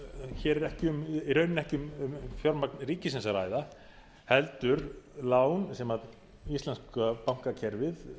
hér er ekki í rauninni um fjármagn ríkisins að ræða heldur lán sem íslenska bankakerfið